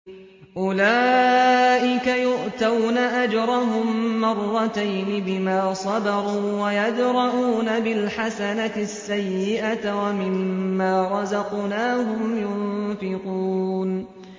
أُولَٰئِكَ يُؤْتَوْنَ أَجْرَهُم مَّرَّتَيْنِ بِمَا صَبَرُوا وَيَدْرَءُونَ بِالْحَسَنَةِ السَّيِّئَةَ وَمِمَّا رَزَقْنَاهُمْ يُنفِقُونَ